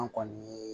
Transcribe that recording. An kɔni ye